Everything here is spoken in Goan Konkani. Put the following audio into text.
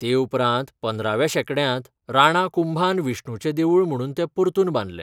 ते उपरांत पंदराव्या शेंकड्यांत राणा कुंभान विष्णुचें देवूळ म्हणून तें परतून बांदलें.